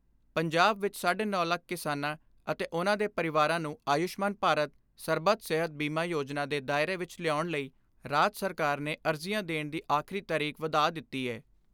ਪੰਜਾਬ ਵਿਚ ਸਾਢੇ ਨੌ ਲੱਖ ਕਿਸਾਨਾਂ ਅਤੇ ਉਨ੍ਹਾਂ ਦੇ ਪਰਿਵਾਰਾਂ ਨੂੰ ਆਯੁਸ਼ਮਾਨ ਭਾਰਤ ਸਰਬੱਤ ਸਿਹਤ ਬੀਮਾ ਯੋਜਨਾ ਦੇ ਦਾਇਰੇ ਵਿੱਚ ਲਿਆਉਣ ਲਈ ਰਾਜ ਸਰਕਾਰ ਨੇ ਅਰਜ਼ੀਆਂ ਦੇਣ ਦੀ ਆਖਰੀ ਤਾਰੀਕ ਵਧਾ ਦਿੱਤੀ ਏ।